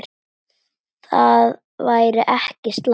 Það væri ekki slæmt.